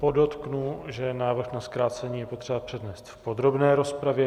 Podotknu, že návrh na zkrácení je potřeba přednést v podrobné rozpravě.